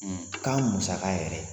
Kan musaka yɛrɛ